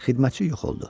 Xidmətçi yox oldu.